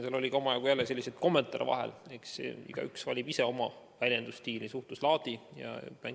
Selles oli jälle omajagu ka selliseid kommentaare vahel, aga eks igaüks valib ise oma väljendusstiili, suhtluslaadi.